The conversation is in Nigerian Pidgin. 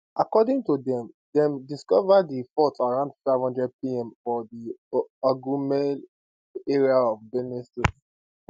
according to dem dem discover di fault around 500pm for di igumale area of benue state